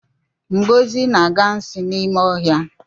Ngozi na-aga nsi n'ime ọhịa